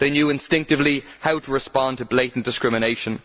They knew instinctively how to respond to blatant discrimination.